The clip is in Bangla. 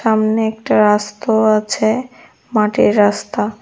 সামনে একটা রাস্ত আছে মাটির রাস্তা।